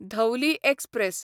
Dhauli express